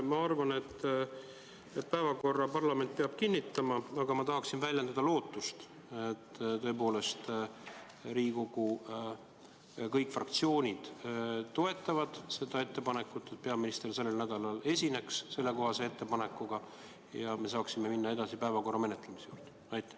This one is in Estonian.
Ma arvan, et päevakorra parlament peab kinnitama, aga ma tahan väljendada lootust, et tõepoolest Riigikogu kõik fraktsioonid toetavad seda ettepanekut, et peaminister sellel nädalal esineks sellekohase ettekandega, ja me saame päevakorra juurde minna.